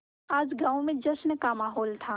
आज गाँव में जश्न का माहौल था